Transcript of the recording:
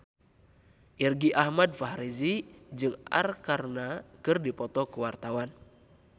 Irgi Ahmad Fahrezi jeung Arkarna keur dipoto ku wartawan